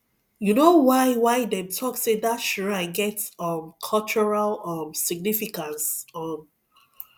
you know why why them talk say that shrine get um cultural um significance um